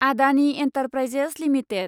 Adani enterprises limited